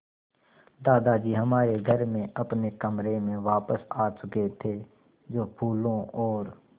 दादाजी हमारे घर में अपने कमरे में वापस आ चुके थे जो फूलों और